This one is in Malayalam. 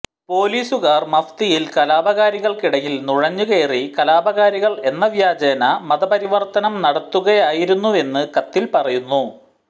പോലീസുകാർ മഫ്തിയിൽ കലാപകാരികൾക്കിടയിൽ നുഴഞ്ഞു കയറി കലാപകാരികൾ എന്ന വ്യാജേന മതപരിവർത്തനം നടത്തുകയായിരുന്നുവെന്ന് കത്തിൽ പറയുന്നു